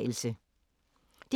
DR P3